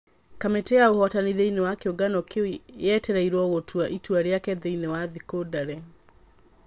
Kamĩtĩ ya ũhotani thĩini wa kiũngano kĩu yetereirwo gũtua itua rĩake thĩini wa thikũ ndare.